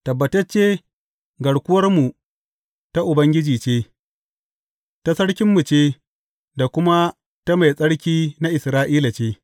Tabbatacce, garkuwarmu ta Ubangiji ce, ta sarkinmu ce, da kuma ta Mai Tsarki na Isra’ila ce.